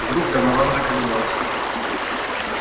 вдруг донован заколебался